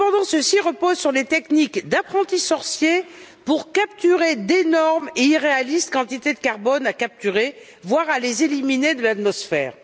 Ceux ci reposent sur des techniques d'apprentis sorciers pour capturer d'énormes et irréalistes quantités de carbone, voire à les éliminer de l'atmosphère.